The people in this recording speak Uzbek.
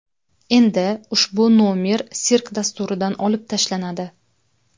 Endi ushbu nomer sirk dasturidan olib tashlanadi .